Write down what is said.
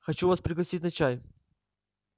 хочу вас пригласить на чай